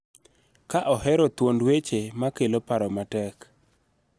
Ka ohero thuond weche ma kelo paro matek